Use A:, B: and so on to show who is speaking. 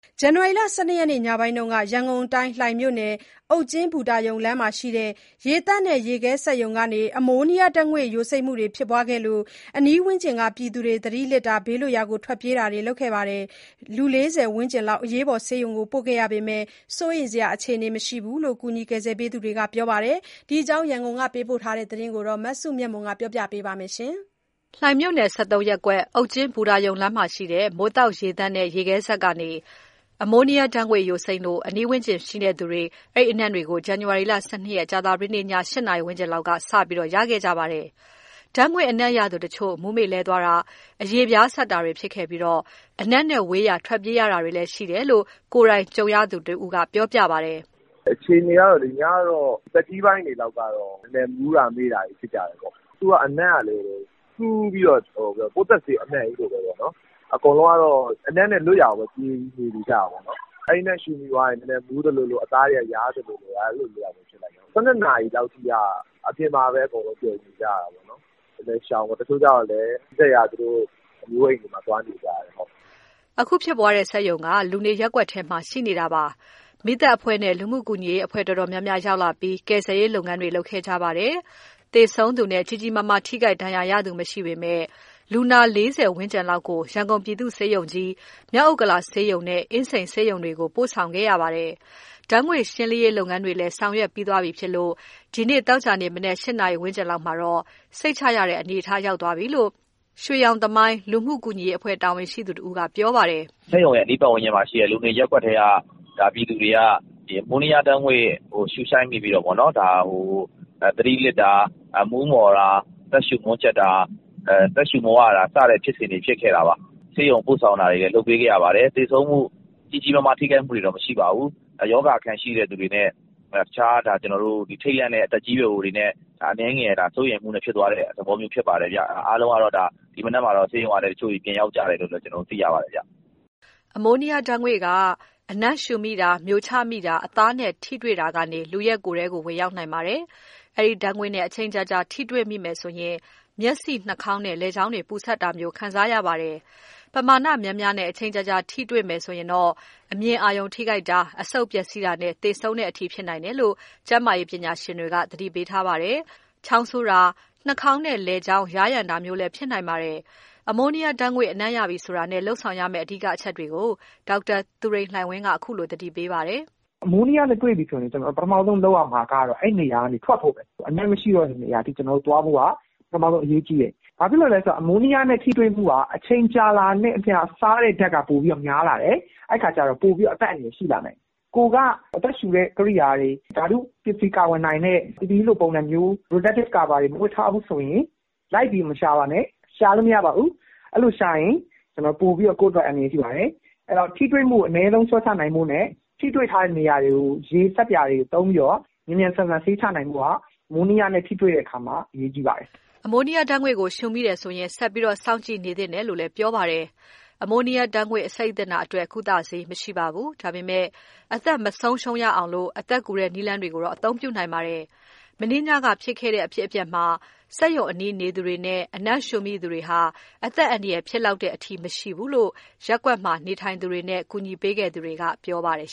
A: ဇန်နဝါရီလ ၁၂ ရက်နေ့ ညပိုင်းက ရန်ကုန်၊ လှိုင်မြို့နယ်၊ အုတ်ကျင်းဘူတာရုံလမ်းမှာ ရှိတဲ့ ရေသန့်နဲ့ ရေခဲစက် စက်ရုံကနေ အမိုးနီးယားဓာတ်ငွေ့ ယိုစိမ့်မှုဖြစ်လို့ အနီးဝန်းကျင်က ပြည်သူတွေ သတိလစ်တာ၊ ဘေးလွတ်ရာ ထွက်ပြေးတာတွေ ဖြစ်ခဲ့ပါတယ်။ လူ ၄၀ ဝန်းကျင်လောက်ကို အရေးပေါ် ဆေးရုံပို့ခဲ့ရပေမယ့် စိုးရိမ်စရာ အခြေအနေ မရှိဘူးလို့ ကူညီခဲ့သူတွေက ပြောပါတယ်။ ဒီအကြောင်း ရန်ကုန်က ပေးပို့တဲ့သတင်းကို မစုမြတ်မွန်က တင်ပြပါမယ်။ လှိုင်မြို့နယ် ၁၃ ရပ်ကွက်၊ အုတ်ကျင်းဘူတာရုံလမ်းမှာ ရှိတဲ့ မိုးသောက်ရေသန့်နဲ့ ရေခဲစက်စက်ရုံကနေ အမိုးနီးယားဓာတ်ငွေ့ ယိုစိမ့်လို့ အနီးဝန်းကျင် နေသူတွေမှာ အဲဒီအနံ့တွေကို ဇန်နဝါရီလ ၁၂ ရက်၊ ကြာသပတေး ည ၈ နာရီဝန်းကျင်လောက်က စပြီး ရခဲ့တာပါ။ ဓာတ်ငွေ့အနံ့ ရသူတချို့ မူးမေ့လဲတာ၊ အရေပြားစပ်တာတွေ ဖြစ်ခဲ့ပြီး အနံ့နဲ့ဝေးရာ ထွက်ပြေးရတာတွေလည်း ရှိခဲ့တယ်လို့ ကိုယ်တိုင်ကြုံတွေ့ခဲ့သူ တဦးက ပြောပါတယ်။
B: "အခြေအနေက ညကတော့ သက်ကြီးပိုင်းတွေက နည်းနည်းမူးတာ မေ့တာတွေ ဖြစ်ကြတယ်။ သူ့အနံ့က စူးပြီးတော့ ပိုးသတ်ဆေး အနံ့ကြီးလိုပဲ။ အကုန်လုံးကတော့ အနံ့နဲ့လွတ်ရာကို ပြေးပြီးနေကြတာပေါ့။ အဲဒီအနံ့ ရှူမိသွားရင် နည်းနည်းမူးသလိုလို၊ အသားတွေက ယားသလိုလို အဲလိုတွေဖြစ်တယ်။ ၁၂ နာရီလောက်ထိက အပြင်မှာပဲ အကုန်လုံး ပြုံနေကြရတာပဲ။ နည်းနည်း ရှောင်ရတာပေါ့။ တချို့ကျတော့လည်း နီးစပ်ရာ သူတို့အမျိုးအိမ်မှာ သွားနေကြတယ်။
A: " အခုဖြစ်ပွားတဲ့ စက်ရုံက လူနေရပ်ကွက်ထဲမှာ ရှိနေပြီး မီးသတ်အဖွဲ့နဲ့ လူမှုကူညီရေး အဖွဲ့အတော်များများ ရောက်လာပြီး ကယ်ဆယ်ရေးလုပ်ငန်းတွေ လုပ်ခဲ့ရပါတယ်။ သေဆုံးသူနဲ့ ကြီးကြီးမားမား ထိခိုက်ဒဏ်ရာရသူ မရှိပေမယ့် လူနာ ၄၀ ဝန်းကျင်လောက်ကို ရန်ကုန်ပြည်သူ့ ဆေးရုံကြီး၊ မြောက်ဥက္ကလာဆေးရုံနဲ့ အင်းစိန်ဆေးရုံတို့ကို ပို့ဆောင်လိုက်ရပါတယ်။ ဓာတ်ငွေ့ ရှင်းလင်းရေး လုပ်ငန်းတွေလည်း ဆောင်ရွက်သွားပြီ ဖြစ်လို့ သောကြာနေ့ မနက် ၆ နာရီ ဝန်းကျင်မှာတော့ စိတ်ချရတဲ့ အနေအထားရောက်ပြီလို့ ရွှေရောင်သမိုင်း လူမှုကူညီရေးအဖွဲ့ တာဝန်ရှိသူတဦးက ပြောပါတယ်။
B: "စက်ရုံရဲ့အနီး ပတ်ဝန်းကျင်မှာရှိတဲ့ လူနေရပ်ကွက်ထဲက ပြည်သူတွေက ဒီ အမိုးနီးယားဓာတ်ငွေ့ကို ရှူရှိုက်မိပြီးတော့ သတိလစ်တာ၊ မူးမောတာ၊ အသက်ရှူ မွန်းကြပ်တာ၊ အသက်ရှူ မဝတာ စတဲ့ ဖြစ်စဉ်တွေ ဖြစ်ခဲ့တာပါ။ ဆေးရုံ ပို့ဆောင်တာတွေလည်း လုပ်ပေးခဲ့ရပါတယ်။ သေဆုံးမှု၊ ကြီးကြီးမားမား ထိခိုက်မှုတွေတော့ မရှိပါဘူး။ ရောဂါအခံ ရှိတဲ့သူတွေနဲ့ ထိတ်လန့်တဲ့ သက်ကြီးရွယ်အိုတွေနဲ့ အနည်းငယ် စိုးရိမ်မှုဖြစ်သွားတဲ့ သဘောမျိုး ဖြစ်ပါတယ်။ အားလုံးက ဒီမနက်မှာတော့ ဆေးရုံကနေ ပြန်ရောက်ပြီလို့လည်း သိရပါတယ်ဗျ
A: ။" အမိုးနီးယားဓာတ်ငွေ့က လူရဲ့ကိုယ်ထဲကို အနံ့ရှူမိတာ၊ မျိုချမိတာနဲ့ အသားနဲ့ ထိတွေ့တာကနေ ဝင်ရောက်နိုင်ပါတယ်။ အဲဒီဓာတ်ငွေ့နဲ့ အချိန်ကြာကြာ ထိတွေ့မိမယ်ဆို မျက်စိ၊ နှာခေါင်းနဲ့ လည်ချောင်းတွေ ပူစပ်တာ ခံစားရပြီး၊ ပမာဏများများနဲ့ အချိန်ကြာထိတွေ့မိခဲ့ရင် အမြင်အာရုံ ထိခိုက်နတာ၊ အဆုတ်ပျက်စီးတာနဲ့ သေဆုံးတဲ့အထိ ဖြစ်နိုင်တယ်လို့ ကျန်းမာရေးပညာရှင်တွေက သတိပေးထားပါတယ်။ ချောင်းဆိုးတာ၊ နှာခေါင်းနဲ့ လည်ချောင်း ယားယံတာမျိုးလည်း ဖြစ်နိုင်ပြီး အမိုးနီးယားဓာတ်ငွေ့ အနံ့ရပြီဆိုတာနဲ့ လုပ်ဆောင်ရမယ့် အဓိကအချက်တွေကို ဒေါက်တာသူရိန်လှိုင်ဝင်းက အခုလို သတိပေးထားပါတယ်။
C: "အမိုးနီးယားနဲ့ တွေ့ပြီဆိုရင် ပထမဦးဆုံး လုပ်ရမှာကတော့ အဲဒီနေရာကနေ ထွက်ဖို့ပဲ။ အနံ့မရှိတော့တဲ့ နေရာအထိသွားဖို့က ပထမဦးဆုံး အရေးကြီးတယ်။ ဘာဖြစ်လို့လဲဆိုတော့ အမိုးနီးယားနဲ့ ထိတွေ့မှုက အချိန်ကြာလာတာနဲ့ အမျှ စားတဲ့ဓာတ်က ပိုပြီးတော့များလာတယ်။ အဲဒီအခါကျတော့ ပိုပြီးတော့ အသက်အန္တရာယ် ရှိလာနိုင်တယ်။ ကိုယ်က အသက်ရှူတဲ့ ကိရိယာတွေ၊ ဓာတုပစ္စည်း ကာကွယ်နိုင်တဲ့ PPE လို ပုံစံမျိုး Protective cover တွေ မဝတ်ထားဘူးဆိုရင် အနံ့ရတဲ့နေရာကို လိုက်ပြီးမရှာပါနဲ့။ ရှာလို့ မရပါဘူး။ အဲလိုရှာရင် ကိုယ့်အတွက် ပိုပြီးအန္တရာယ်ရှိတယ်။ အဲတော့ ထိတွေ့မှုကို အနည်းဆုံး လျှော့ချနိုင်ဖို့နဲ့ ထိတွေ့ထားတဲ့ နေရာတွေကို ရေ နဲ့ ဆပ်ပြာ သုံးပြီးတော့ မြန်မြန်ဆန်ဆန် ဆေးချနိုင်ဖို့က အမိုးနီးယားနဲ့ ထိတွေ့တဲ့အခါမှာ အရေးကြီးပါတယ်။
A: " အမိုးနီးယားအငွေ့ကို ရှူမိတယ်ဆိုရင် ဆက်ပြီးစောင့်ကြည့်နေ သင့်တယ်လို့လည်း ပြောပါတယ်။ အမိုးနီးယားဓာတ်ငွေ့ အဆိပ်သင့်တာအတွက် ဆေးဝါးမယ်မယ်ရရ မရှိပေမယ့် လူ့အသက်မဆုံးရှုံးရအောင် အသက်ကူတဲ့ နည်းလမ်းတွေကိုတော့ အသုံးပြုနိုင်ပါတယ်။ မနေ့ညက ဖြစ်ခဲ့တဲ့ဖြစ်စဉ်မှာ စက်ရုံအနီးနေသူတွေနဲ့ အနံ့ရှူမိသူတွေမှာ အသက်အန္တရာယ် ဖြစ်လောက်တဲ့အထိ မရှိခဲ့ဘူးလို့ ရပ်ကွက်မှာ နေထိုင်သူတွေနဲ့ ကူညီပေးခဲ့သူတွေက ပြောပါတယ်